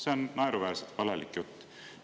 See on naeruväärselt valelik jutt!